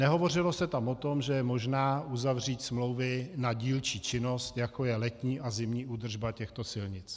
Nehovořilo se tam o tom, že je možné uzavřít smlouvy na dílčí činnost, jako je letní a zimní údržba těchto silnic.